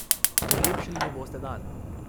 Polepšali mu boste dan.